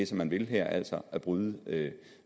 som man vil her altså at bryde